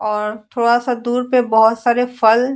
और थोड़ा सा दूर पे बहोत सारे फल --